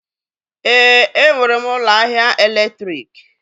Èé, enwere m ụlọ ahịa èlétrị̀k.